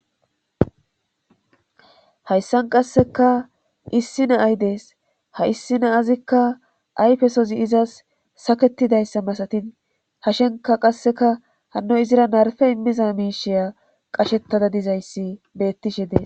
hayssan qasseka issi na ay dees ha issi na azikka ayfesozi izas saketidayssa masatin hashenka qasseka hanno izira narfe immiza miishiya qashettada dizayssi bettishe dee